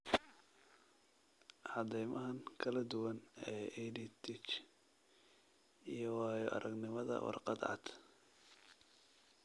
Caddaymahan kala duwan ee EdTech iyo waayo-aragnimada warqad cad.